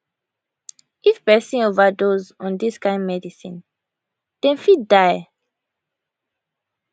if pesin overdose on dis kind medicine dem fit die